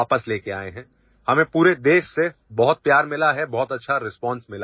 We have received a lot of affection from the entire country and a very good response